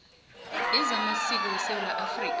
wezamasiko wesewula afrika